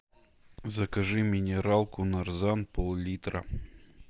закажи минералку нарзан пол литра